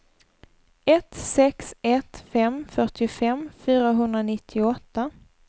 ett sex ett fem fyrtiofem fyrahundranittioåtta